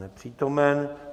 Nepřítomen.